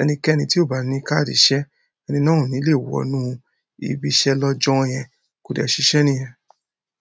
Ẹnikẹ́ni tí ò bá ní káàdì iṣẹ́, ẹni náà ò ní lè wọnú ibiṣẹ́ lọ́jọ́ yẹn, kò dẹ̀ ṣiṣẹ́ nìyẹn.